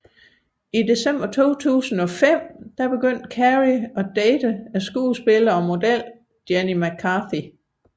I december 2005 begyndte Carrey at date skuespilleren og modellen Jenny McCarthy